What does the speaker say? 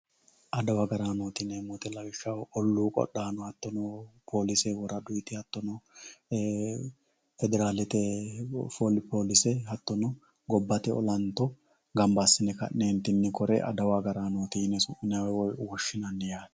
adawu agaraanooti yineemo woyiite lawishshaho olluu qodhaano hattono polise woraduyiiti hatto no federaalete polise hattono gobbate olanto gamba assine ka'neetinni kore adawu agaraanooti yine su'minayii woy woshshinanni yaate.